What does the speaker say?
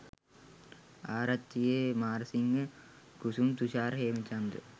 Arachchige Marasinghe Kusum Thushara Hemachandra .